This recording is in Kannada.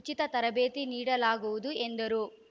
ಉಚಿತ ತರಬೇತಿ ನೀಡಲಾಗುವುದು ಎಂದರು